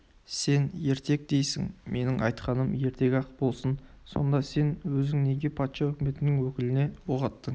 сен ертек дейсің менің айтқаным ертек-ақ болсын сонда сен өзің неге патша өкіметінің өкіліне оқ аттың